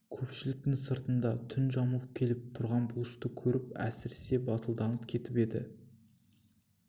көпшіліктің сыртында түн жамылып келіп тұрған бұлышты көріп әсіресе батылданып кетіп еді